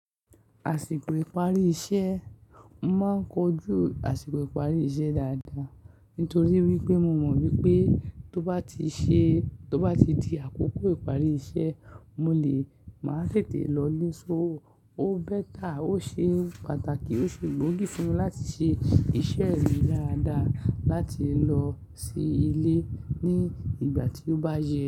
Àsìkò ìparí iṣẹ́, mo máa ń kojú àsìkò ìparí iṣẹ́ dáadáa, nítorí wípé mo mọ̀ wípé tó bá ti ṣe tó bá ti di àkókò ìparí iṣẹ́, mo lè máa tètè lọ lé so. Ó better, ó ṣe pàtàkì, ó ṣe gbóògì fún mi láti ṣe iṣẹ́ mi dáadáa láti lọ sí ilé ní ìgbà tí ó bá yẹ.